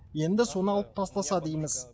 енді соны алып тастаса дейміз